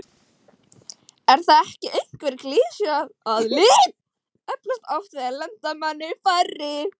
Er það ekki einhver klisja að lið eflast oft við að lenda manni færri?